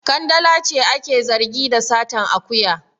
Kandala ce ake zargi da satan akuya.